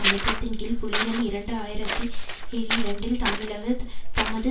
அழுத்தத்தின் கீழ் புலிகள் இரண்டு ஆயிரத்தி இரண்டில் தமிழக தமது